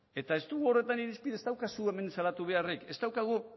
eta ez duzu hemen salatu beharrik ez daukagu